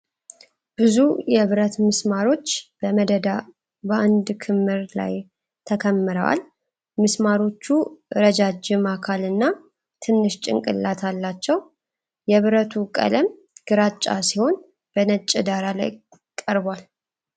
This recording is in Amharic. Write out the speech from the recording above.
ብዙ የብረት ምስማሮች በመደዳ በአንድ ክምር ላይ ተከምረዋል፡፡ ምስማሮቹ ረጃጅም አካልና ትንሽ ጭንቅላት አላቸው፡፡ የብረቱ ቀለም ግራጫ ሲሆን በነጭ ዳራ ላይ ቀርቧል፡፡